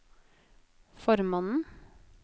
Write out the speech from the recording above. formannen